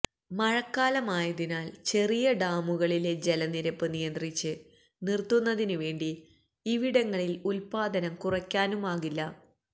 മഴക്കാലമായതിനാല് ചെറിയ ഡാമുകളിലെ ജലനിരപ്പ് നിയന്ത്രിച്ച് നിര്ത്തുന്നതിന് വേണ്ടി ഇവിടങ്ങളിലെ ഉത്പാദനം കുറയ്ക്കാനുമാകില്ല